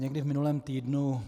Někdy v minulém týdnu